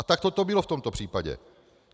A takto to bylo v tomto případě.